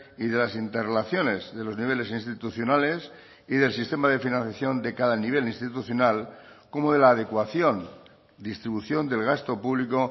y de las interrelaciones de los niveles institucionales y del sistema de financiación de cada nivel institucional como de la adecuación distribución del gasto público